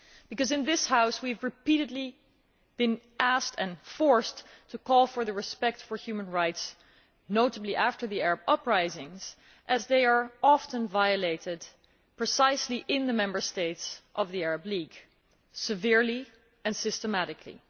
because in this House we have repeatedly been asked and forced to call for the respect for human rights, notably after the Arab uprisings, as they are often violated, precisely in the member states of the Arab League, severely and systematically.